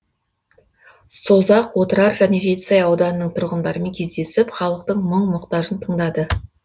созақ отырар және жетісай ауданының тұрғындарымен кездесіп халықтың мұң мұқтажын тыңдады